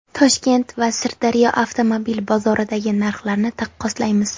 Toshkent va Sirdaryo avtomobil bozoridagi narxlarni taqqoslaymiz.